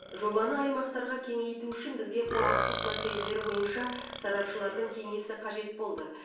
жобаны аймақтарға кеңейту үшін бізге құқықтық мәселелер бойынша сарапшылардың кеңесі қажет болды